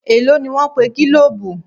Èló ni wọ́n pe gílòòbù.?